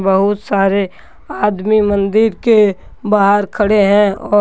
बहुत सारे आदमी मंदिर के बाहर खड़े है और--